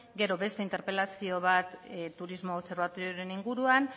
gero beste interpelazio bat turismo obserbatorioren inguruan